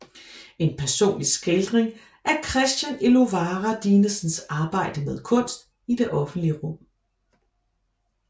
En personlig skildring af Christian Elovara Dinesens arbejde med kunst i det offentlige rum